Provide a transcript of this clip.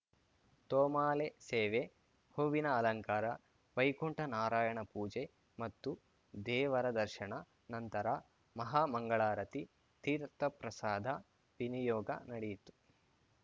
ತೋಮಾಲೆ ಸೇವೆ ಹೂವಿನ ಅಲಂಕಾರ ವೈಕುಂಠ ನಾರಾಯಣ ಪೂಜೆ ಮತ್ತು ದೇವರ ದರ್ಶನ ನಂತರ ಮಹಾ ಮಂಗಳಾರತಿ ತೀರ್ಥ ಪ್ರಸಾದ ವಿನಿಯೋಗ ನಡೆಯಿತು